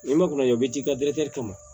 N'i ma kunna jɔ i b'i ji ka